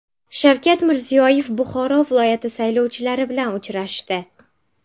Shavkat Mirziyoyev Buxoro viloyati saylovchilari bilan uchrashdi.